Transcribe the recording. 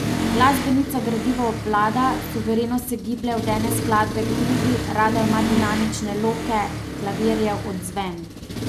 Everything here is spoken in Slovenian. Glasbenica gradivo obvlada, suvereno se giblje od ene skladbe k drugi, rada ima dinamične loke, klavirjev odzven.